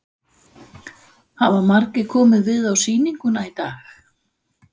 Hafa margir komið við á sýninguna í dag?